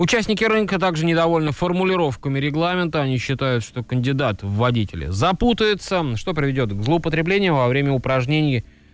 участники рынка также недовольны формулировками регламента они считают что кандидат в водителе запутается что приведёт к употреблению во время упражнений